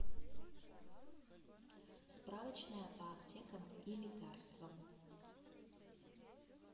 справочная по аптекам и лекарствам